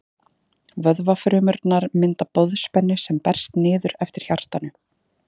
Vöðvafrumurnar mynda boðspennu sem berst niður eftir hjartanu.